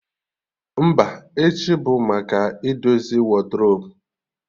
Mba, echi bụ maka idozi wadrobu